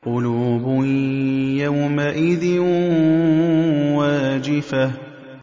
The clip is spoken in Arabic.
قُلُوبٌ يَوْمَئِذٍ وَاجِفَةٌ